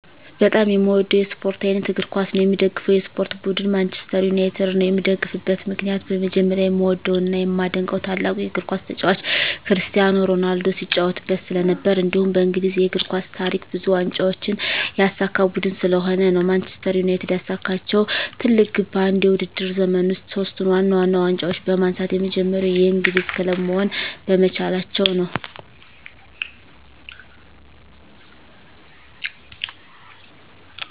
በጣም የምዎደው የስፖርት አይነት እግር ኳስ ነው። የምደግፈው የስፖርት ቡድን ማንችስተር ዩናይትድ ነው። የምደግፍበት ምክንያት በመጀመሪያ የምዎደው እና የማደንቀው ታላቁ የግር ኳስ ተጫዋች ክርስቲያኖ ሮናልዶ ሲጫዎትበት ስለነበር። እንዲሁም በእንግሊዝ የእግር ኳስ ታሪክ ብዙ ዋንጫዎችን ያሳካ ቡድን ስለሆነ ነው። ማንችስተር ዩናይትድ ያሳካችው ትልቁ ግብ በአንድ የውድድር ዘመን ውስጥ ሶስቱን ዋና ዋና ዋንጫዎች በማንሳት የመጀመሪያው የእንግሊዝ ክለብ መሆን በመቻላቸው ነው።